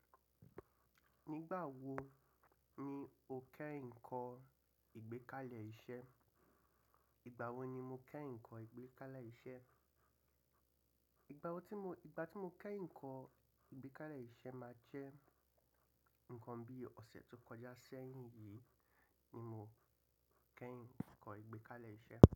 Nígbà wo ni o kẹ́yìn kọ́ ìgbékalẹ̀ iṣẹ́? Ìgbà wo ni mo kẹ́ ìkọ́ ìgbékalẹ̀ iṣẹ́? Ìgbà wo tí mo, ìgbà tí mo kẹ́yìn kọ́ ìgbékalẹ̀ iṣẹ́ máa jẹ́ ǹkan bí ọ̀sẹ̀ tó kọjá sẹ́yìn yìí ni mọ kẹ́yìn kọ́ ìgbékalẹ̀ iṣẹ́.